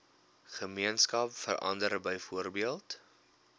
gemeenskap verander byvoorbeeld